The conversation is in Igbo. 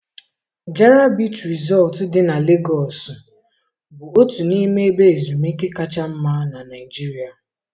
Jara Bichii Resọt dị na Legosu bụ otu n'ime ebe ezumike kacha mma na Nigeria.